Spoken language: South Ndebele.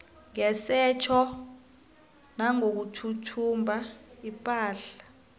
ngesetjho nangokuthumba ipahla